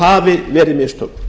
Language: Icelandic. hafi verið mistök